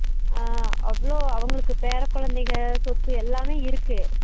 ஆஹ் அவளோ அவங்களுக்கு பேர குழந்தைக சொத்து எல்லாம் இருக்கு